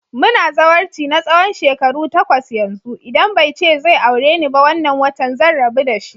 Muna zawarci na tsawon shekaru takwas yanzu, idan bai ce zai aure ni ba wannan watan zan rabu dashi.